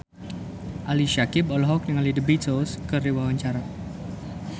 Ali Syakieb olohok ningali The Beatles keur diwawancara